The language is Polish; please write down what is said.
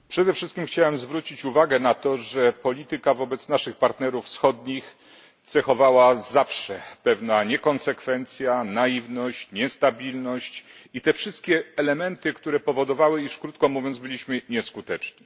Przede wszystkim chciałbym zwrócić uwagę na to, że politykę wobec naszych partnerów wschodnich cechowała zawsze pewna niekonsekwencja, naiwność, niestabilność i te wszystkie elementy powodowały, iż, krótko mówiąc, byliśmy nieskuteczni.